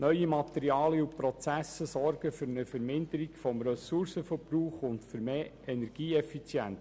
Neue Materialien und Prozesse sorgen für eine Verminderung des Ressourcenverbrauchs und für mehr Energieeffizienz.